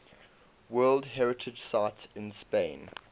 world heritage sites in spain